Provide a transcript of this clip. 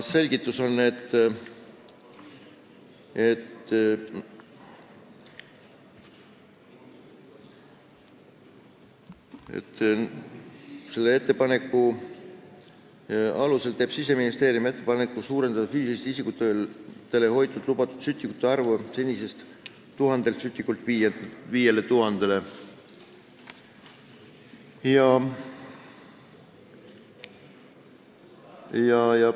Selgitus on, et esitatud ettepaneku alusel teeb Siseministeerium ettepaneku suurendada füüsilistel isikutel hoida lubatud sütikute arvu senisest 1000 sütikust 5000-ni.